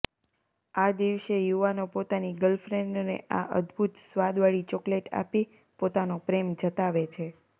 આ દિવસે યુવાનો પોતાની ગર્લફ્રેન્ડને આ અદભુત સ્વાદવાળી ચોકલેટ આપી પોતાનો પ્રેમ જતાવે છે